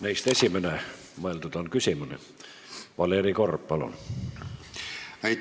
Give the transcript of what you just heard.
Neist esimene – mõeldud on küsimust –, Valeri Korb, palun!